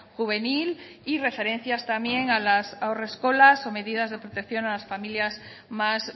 juvenil y referencias también a las haurreskolas o medidas de protección a las familias más